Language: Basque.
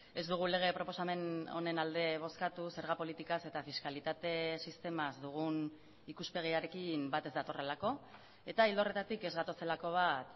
ez dugu lege proposamen honen alde bozkatu zerga politikaz eta fiskalitate sistemaz dugun ikuspegiarekin bat ez datorrelako eta ildo horretatik ez gatozelako bat